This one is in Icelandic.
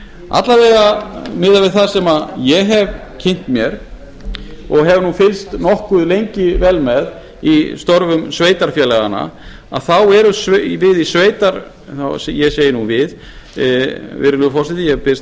alla vega miðað við það sem ég hef kynnt mér og hef nú fylgst nokkuð lengi vel með í störfum sveitarfélaganna að þá erum við ég segi nú við virðulegi forseti ég biðst